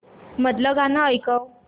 मधलं गाणं ऐकव